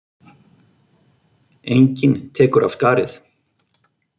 Enginn tekur af skarið.